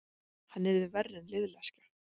Hann yrði verri en liðleskja.